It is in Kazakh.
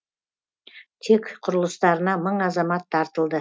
тек құрылыстарына мың азамат тартылды